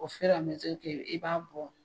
i b'a bɔ